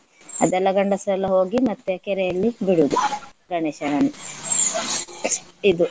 ಅದೆಲ್ಲ ಗಂಡಸರೆಲ್ಲ ಹೋಗಿ ಮತ್ತೆ ಕೆರೆಯಲ್ಲಿ ಬಿಡುವುದು ಗಣೇಶನನ್ನು ಇದು.